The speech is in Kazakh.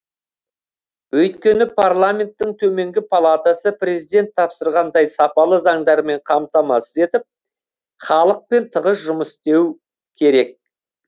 өйткені парламенттің төменгі палатасы президент тапсырғандай сапалы заңдармен қамтамасыз етіп халықпен тығыз жұмыс істеу керек